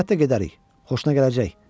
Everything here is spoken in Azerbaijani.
Əlbəttə gedərik, xoşuna gələcək.